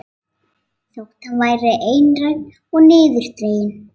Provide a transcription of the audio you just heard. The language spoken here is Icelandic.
Þótt hann væri einrænn og niðurdreginn.